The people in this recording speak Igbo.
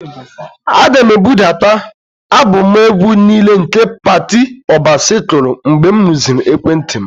Aga m ebudata alụbọmụ egwu niile nke Patty Obasi kụrụ mgbe m rụziri ekwentị m.